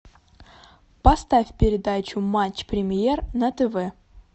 поставь передачу матч премьер на тв